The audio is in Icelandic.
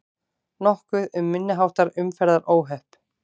Nokkuð um minniháttar umferðaróhöpp